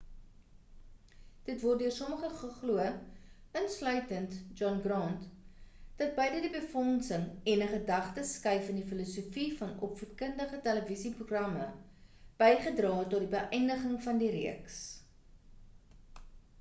dit word deur sommige geglo insluitend john grant dat beide die befondsing en 'n gedagte skuif in die filosofie van die opvoedkundige televisie-programme bygedra het tot die beïndiging van die reeks